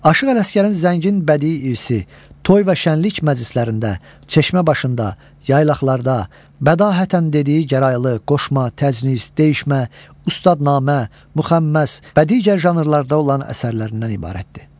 Aşıq Ələsgərin zəngin bədii irsi, toy və şənlik məclislərində, çeşmə başında, yaylaqlarda bədahətən dediyi gəraylı, qoşma, təcnis, deyişmə, ustadnamə, müxəmməs və digər janrlarda olan əsərlərindən ibarətdir.